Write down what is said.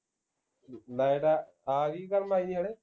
light ਆ ਗੀ ਕਰਨ